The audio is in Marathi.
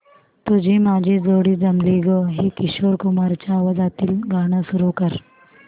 तुझी माझी जोडी जमली गं हे किशोर कुमारांच्या आवाजातील गाणं सुरू कर